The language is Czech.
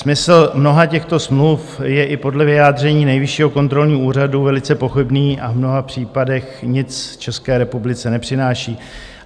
Smysl mnoha těchto smluv je i podle vyjádření Nejvyššího kontrolního úřadu velice pochybný a v mnoha případech nic České republice nepřináší.